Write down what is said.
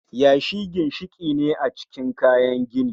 Yashi ginshiki ne a cikin kayan gini